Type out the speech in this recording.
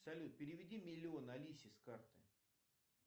салют переведи миллион алисе с карты